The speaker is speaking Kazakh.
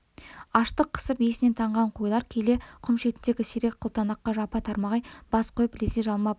аштық қысып есінен танған қойлар келе құм шетіндегі сирек қылтанаққа жапа-тармағай бас қойып лезде жалмап алды